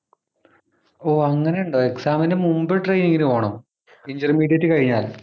ഓ അങ്ങനെയുണ്ടോ exam ന് മുമ്പ് training നു പോണം Intermediate കഴിഞ്ഞാല്